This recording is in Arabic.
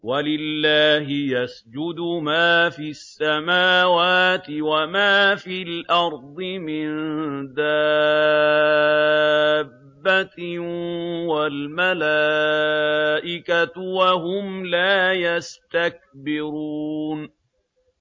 وَلِلَّهِ يَسْجُدُ مَا فِي السَّمَاوَاتِ وَمَا فِي الْأَرْضِ مِن دَابَّةٍ وَالْمَلَائِكَةُ وَهُمْ لَا يَسْتَكْبِرُونَ